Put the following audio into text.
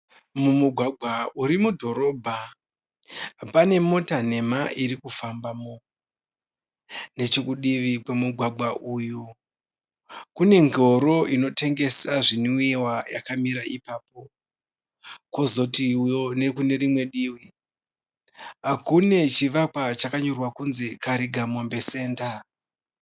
Mumugwagwa urimudhorobha. Pane mota nhema irikufambamo. Nechokudivi kwemugwagwa uyu kunengoro inotengesa zvinwiwa yakamira ipapo. Kozotiwo nekunerimwe divi, kune chivakwa chakanyorwa kunzi Karigamombe senda.